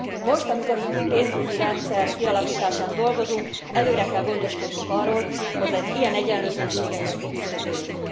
Most, amikor az új pénzügyi rendszer kialakításán dolgozunk, előre kell gondoskodnunk arról, hogy az ilyen egyenlőtlenségeket kiküszöböljük.